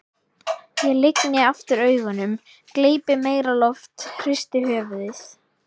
Ég lygni aftur augunum, gleypi meira loft, hristi höfuðið.